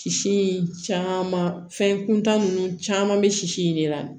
Sisi in caman fɛn kuntan nunnu caman bɛ sisi in de la